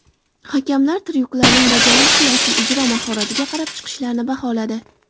Hakamlar tryuklarning bajarilishi va ijro mahoratiga qarab chiqishlarni baholadi.